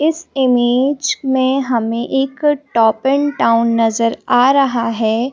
इस इमेज में हमें एक टॉप एन टाउन नज़र आ रहा है।